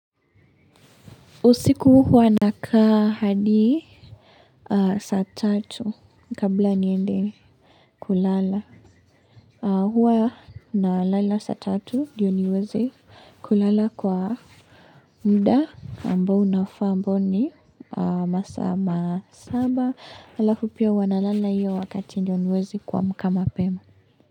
Usiku huwa na kaa hadi saa tatu kabla niende kulala huwa nalala sa tatu ndio niwezi kulala kwa mda ambao unafa ambo ni masaa masaba alafu pia huwa nalala iyo wakati ndio niweze kuamka mapema.